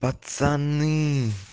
пацаны